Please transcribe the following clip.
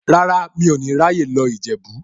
Rárá, mi ò ní ráyè lọ Ìjẹ̀bú.